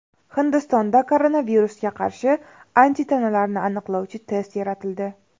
Hindistonda koronavirusga qarshi antitanalarni aniqlovchi test yaratildi.